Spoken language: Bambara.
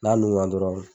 N'a nun na dɔrɔn